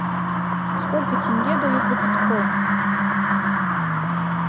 сколько тенге дают за биткоин